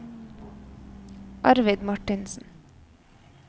Arvid Martinsen